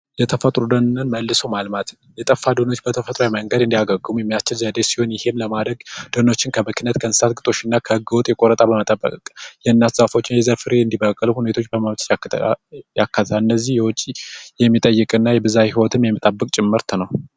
የተፈጥሮ ደንን መልሶ የጠፋ ደኖች በተፈጥሮ መልሰው እንዲያግሙ የሚያስችል ዘዴ ሲሆን ይሄን ለማድረግ ደህንነት ከእንስሳት እና ከህገወጥ ቆረጣ በመጠበቅ ዛፎችን የዘር ፍሬ እንዲበቅል በማድረግ ያከተል እነዚህ የውጭ የሚጠይቅና ይብዛ ህይወት የሚጨመር ነው።